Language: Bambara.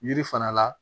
Yiri fana la